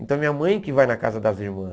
Então, minha mãe que vai na casa das irmãs.